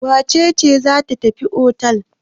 Wace ce za tafi otel?